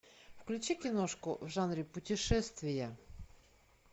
включи киношку в жанре путешествия